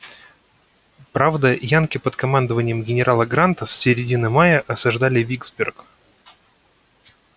правда янки под командованием генерала гранта с середины мая осаждали виксберг